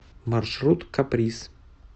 маршрут каприз